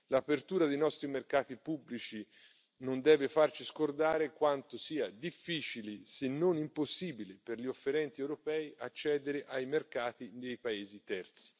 L'apertura dei nostri mercati pubblici non deve farci scordare quanto sia difficile, se non impossibile, per gli offerenti europei accedere ai mercati dei paesi terzi.